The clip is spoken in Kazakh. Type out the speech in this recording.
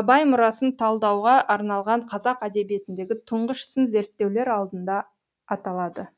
абай мұрасын талдауға арналған қазақ әдебиетіндегі тұңғыш сын зерттеулер алдында аталады